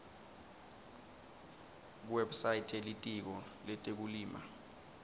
kuwebsite yelitiko letekulima